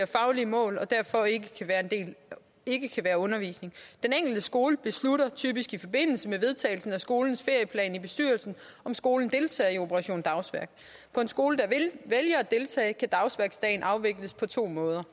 faglige mål og derfor ikke kan være undervisning den enkelte skole beslutter typisk i forbindelse med vedtagelsen af skolens ferieplan i bestyrelsen om skolen deltager i operation dagsværk på en skole der vælger at deltage kan dagsværksdagen afvikles på to måder